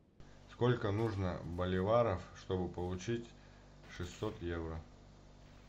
сколько нужно боливаров чтобы получить шестьсот евро